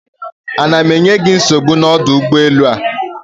Ana m enye gị nsogbu n'ọdụ ụgbọelu a?